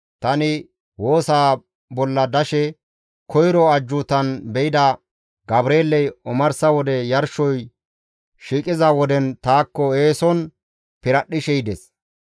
Tani woosa bolla dashe koyro ajjuutan be7ida Gabreeley omarsa wode yarshoy shiiqiza woden taakko eeson piradhdhishe yides.